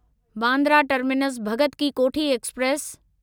Bandra terminus Bhagat ki Kothi express